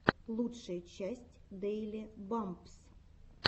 лучшая часть дэйли бампс